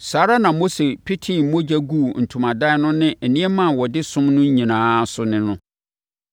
Saa ara na Mose petee mogya guu ntomadan no ne nneɛma a wɔde som no nyinaa so ne no.